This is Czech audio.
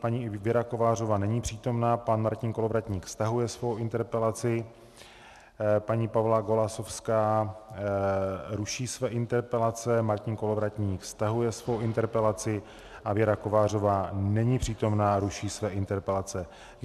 Paní Věra Kovářová není přítomna, pan Martin Kolovratník stahuje svou interpelaci, paní Pavla Golasowská ruší své interpelace, Martin Kolovratník stahuje svou interpelaci a Věra Kovářová není přítomna, ruší své interpelace.